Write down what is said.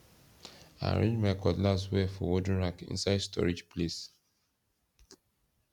i arrange my cutlass well for wooden rack inside storage place